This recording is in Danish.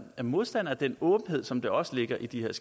modstandere af den åbenhed som der også ligger i de her